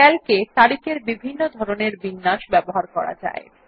Calc এ তারিখ এর বিভিন্ন ধরনের বিন্যাস ব্যবহার করা যায়